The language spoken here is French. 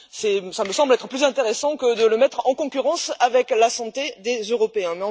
Cela me semble être plus intéressant que de les mettre en concurrence avec la santé des Européens.